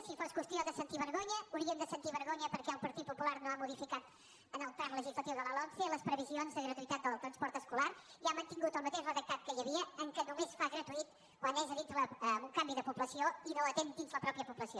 si fos qüestió de sentir vergonya hauríem de sentir vergonya perquè el partit popular no ha modificat en el tram legislatiu de la lomce les previsions de gratuïtat del transport escolar i ha mantingut el mateix redactat que hi havia en què només el fa gratuït quan és amb un canvi de població i no atén dins la pròpia població